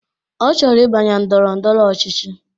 Ọ chọrọ ibanye ndọrọ ndọrọ ọchịchị